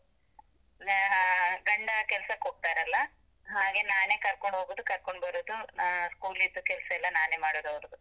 ಗಂಡ ಕೆಲ್ಸಕ್ಕೋಗ್ತಾರಲ್ಲ, ಹಾಗೆ ನಾನೇ ಕರ್ಕೊಂಡ್ ಹೋಗುದು, ಕರ್ಕೊಂಡ್ ಬರುದು, school ದ್ದು ಕೆಲ್ಸ ಎಲ್ಲ ನಾನೇ ಮಾಡುದು ಅವ್ರುದು.